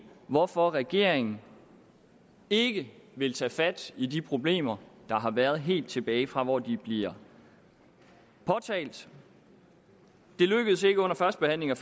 hvorfor regeringen ikke vil tage fat i de problemer der har været helt tilbage fra hvor de bliver påtalt det lykkedes ikke under førstebehandlingen